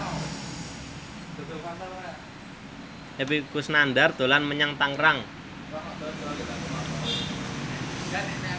Epy Kusnandar dolan menyang Tangerang